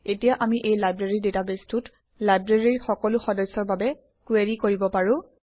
এতিয়া আমি এই লাইব্ৰেৰী ডাটাবেছটোত লাইব্ৰেৰীৰ সকলো সদস্যৰ বাবে কুৱেৰি কৰিব পাৰোঁ